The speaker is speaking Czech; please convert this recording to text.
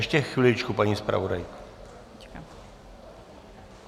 Ještě chviličku, paní zpravodajko.